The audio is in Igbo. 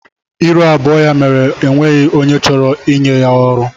Ịrụ abụọ ya mere o nweghị onye chọrọ ịnye ya ọrụ.